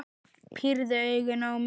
Pírði augun á mig.